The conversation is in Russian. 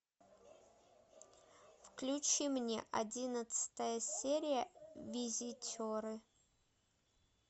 включи мне одиннадцатая серия визитеры